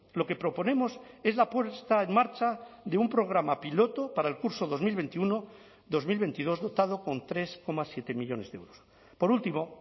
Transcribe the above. lo que proponemos es la puesta en marcha de un programa piloto para el curso dos mil veintiuno dos mil veintidós dotado con tres coma siete millónes de euros por último